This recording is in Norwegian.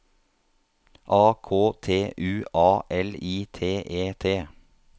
A K T U A L I T E T